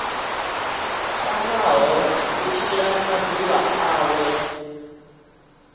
tamaho u tshila maḓuvha awe